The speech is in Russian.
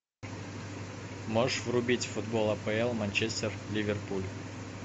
можешь врубить футбол апл манчестер ливерпуль